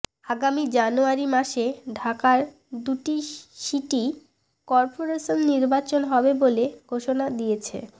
আগামী জানুয়ারি মাসে ঢাকার দুই সিটি করপোরেশনের নির্বাচন হবে বলে ঘোষণা দিয়েছে